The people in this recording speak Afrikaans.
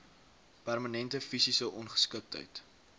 permanente fisiese ongeskiktheid